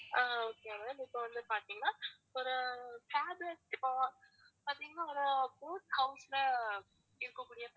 அஹ் okay ma'am இப்பவந்து பாத்தீங்கன்னா ஒரு fabulous இப்போ பாத்தீங்கன்னா ஒரு boat house ல இருக்கக்கூடிய